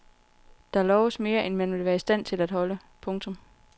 Der loves mere end man vil være i stand til at holde. punktum